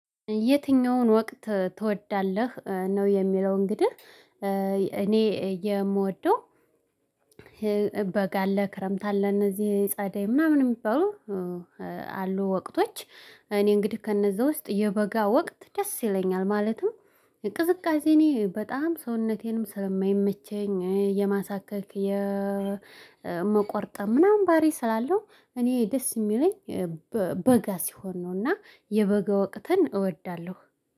የትኛውን ወቅት ትወዳለህ ነው? የሚለው እንግዲህ እኔ የምወደው በጋ አለ ክረምት አለ እነዚህ ጸደይ ምናምን የሚባሉ አሉ ወቅቶች እኔ እንግዲህ ከእነዛ ውስጥ የበጋ ወቅት ደስ ይለኛል ማለትም እንቅስቃሴ እኔ በጣም ሰውነቴንም ስለማይመቸኝ የማሳከል የመቆርጠም ምናምን ባሪ ስላለው እኔ ደስ የሚለኝ በጋ ሲሆን ነውና የበገው አቅተን እወዳለሁ።